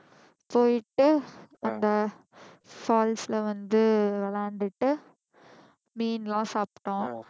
போயிட்டு அந்த falls ல வந்து விளையாண்டுட்டு மீன்லாம் சாப்பிட்டோம்